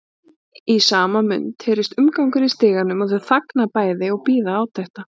Í sama mund heyrist umgangur í stiganum og þau þagna bæði og bíða átekta.